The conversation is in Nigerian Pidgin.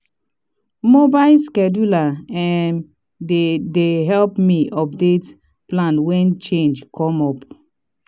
mobile scheduler um dey dey help me update plan wen changes come up.